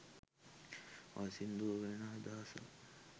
ඔය සින්දුවේ වෙන අදහසක්